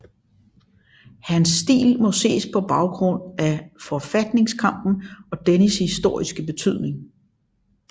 Han stil må ses på baggrund af forfatningskampen og dennes historiske betydning